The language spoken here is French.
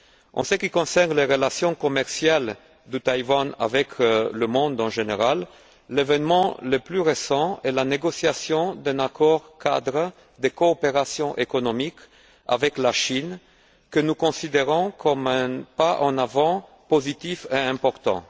En ce qui concerne les relations commerciales de Taïwan avec le monde en général, l'événement le plus récent est la négociation d'un accord cadre de coopération économique avec la Chine que nous considérons comme un pas en avant positif et important.